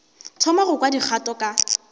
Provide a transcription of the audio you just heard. thoma go kwa dikgato ka